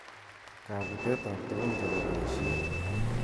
Kabutet ab tukun chebo boishet.